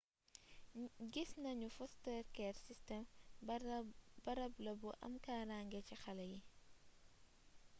gis nanu ni foster care system barab la bu am kaaraange ci xalé yii